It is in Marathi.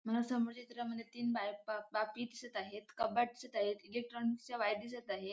मला समोरच्या चित्रामध्ये तीन बापी दिसत आहेत कपात दिसत आहे इलेक्ट्रॉनिक च्या वायरी दिसत आहेत.